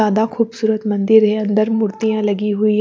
जादा खूबसूरत मंदिर है अन्दर मूर्तियाँ लगी हुई--